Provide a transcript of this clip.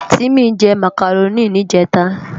Timi jè Mákáróni nijètá